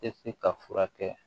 Tɛ se ka furakɛ